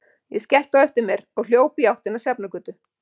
Ég skellti á eftir mér og hljóp í áttina að Sjafnargötu.